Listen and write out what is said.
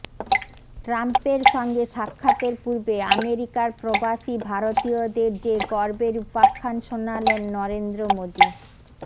ট্রাম্পের সঙ্গে সাক্ষাতের পূর্বে আমেরিকার প্রবাসী ভারতীয়দের যে গর্বের উপাখ্যান শোনালেন নরেন্দ্র মোদী